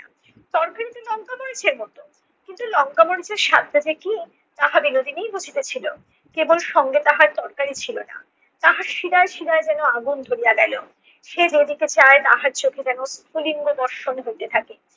তরকারিতে লংকা মরিচের মতো কিন্তু লংকা মরিচের স্বাদটা যে কী তাহা বিনোদিনীই বুঝিতেছিলো। কেবল সঙ্গে তাহার তরকারি ছিল না তাহার শিরায় শিরায় যেন আগুন ধরিয়া গেলো। সে যেদিকে চায় তাহার চোখে যেন স্ফুলিঙ্গ বর্ষণ হইতে থাকে।